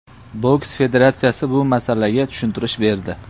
Boks federatsiyasi bu masalaga tushuntirish berdi.